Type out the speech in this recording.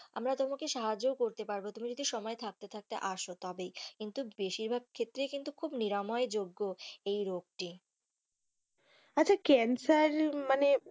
আমরা তোমাকে সাহায্য করতেও পারবো তুমি যদি সময় থাকতে থাকতে আসো তবেই কিন্তু বেশির ভাগ ক্ষেত্রেই কিন্তু খুব নিরাময় যোগ্য এই রোগটি আচ্ছা ক্যান্সার মানে,